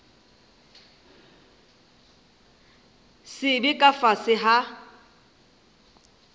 se be ka fase ga